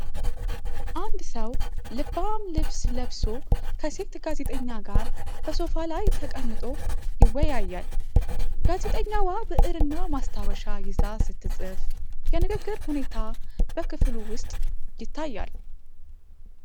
አንድ ሰው ልባም ልብስ ለብሶ ከሴት ጋዜጠኛ ጋር በሶፋ ላይ ተቀምጦ ይወያያል። ጋዜጠኛዋ ብዕርና ማስታወሻ ይዛ ስትጽፍ፣ የንግግር ሁኔታ በክፍሉ ውስጥ ይታያል።